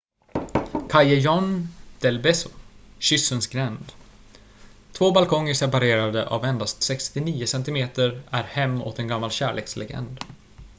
callejon del beso kyssens gränd. två balkonger separerade av endast 69 centimeter är hem åt en gammal kärlekslegend